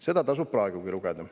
Seda tasub praegugi lugeda.